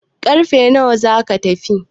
karfe nawa za a tafi?